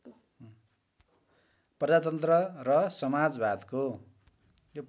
प्रजातन्त्र र समाजवादको